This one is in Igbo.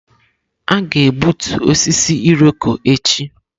Aga-egbutu osisi Irọko echi.